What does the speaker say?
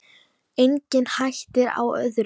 Engin hætta á öðru!